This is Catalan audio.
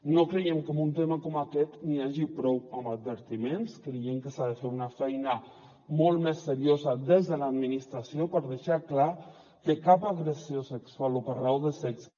no creiem que en un tema com aquest n’hi hagi prou amb advertiments creiem que s’ha de fer una feina molt més seriosa des de l’administració per deixar clar que cap agressió sexual o per raó de sexe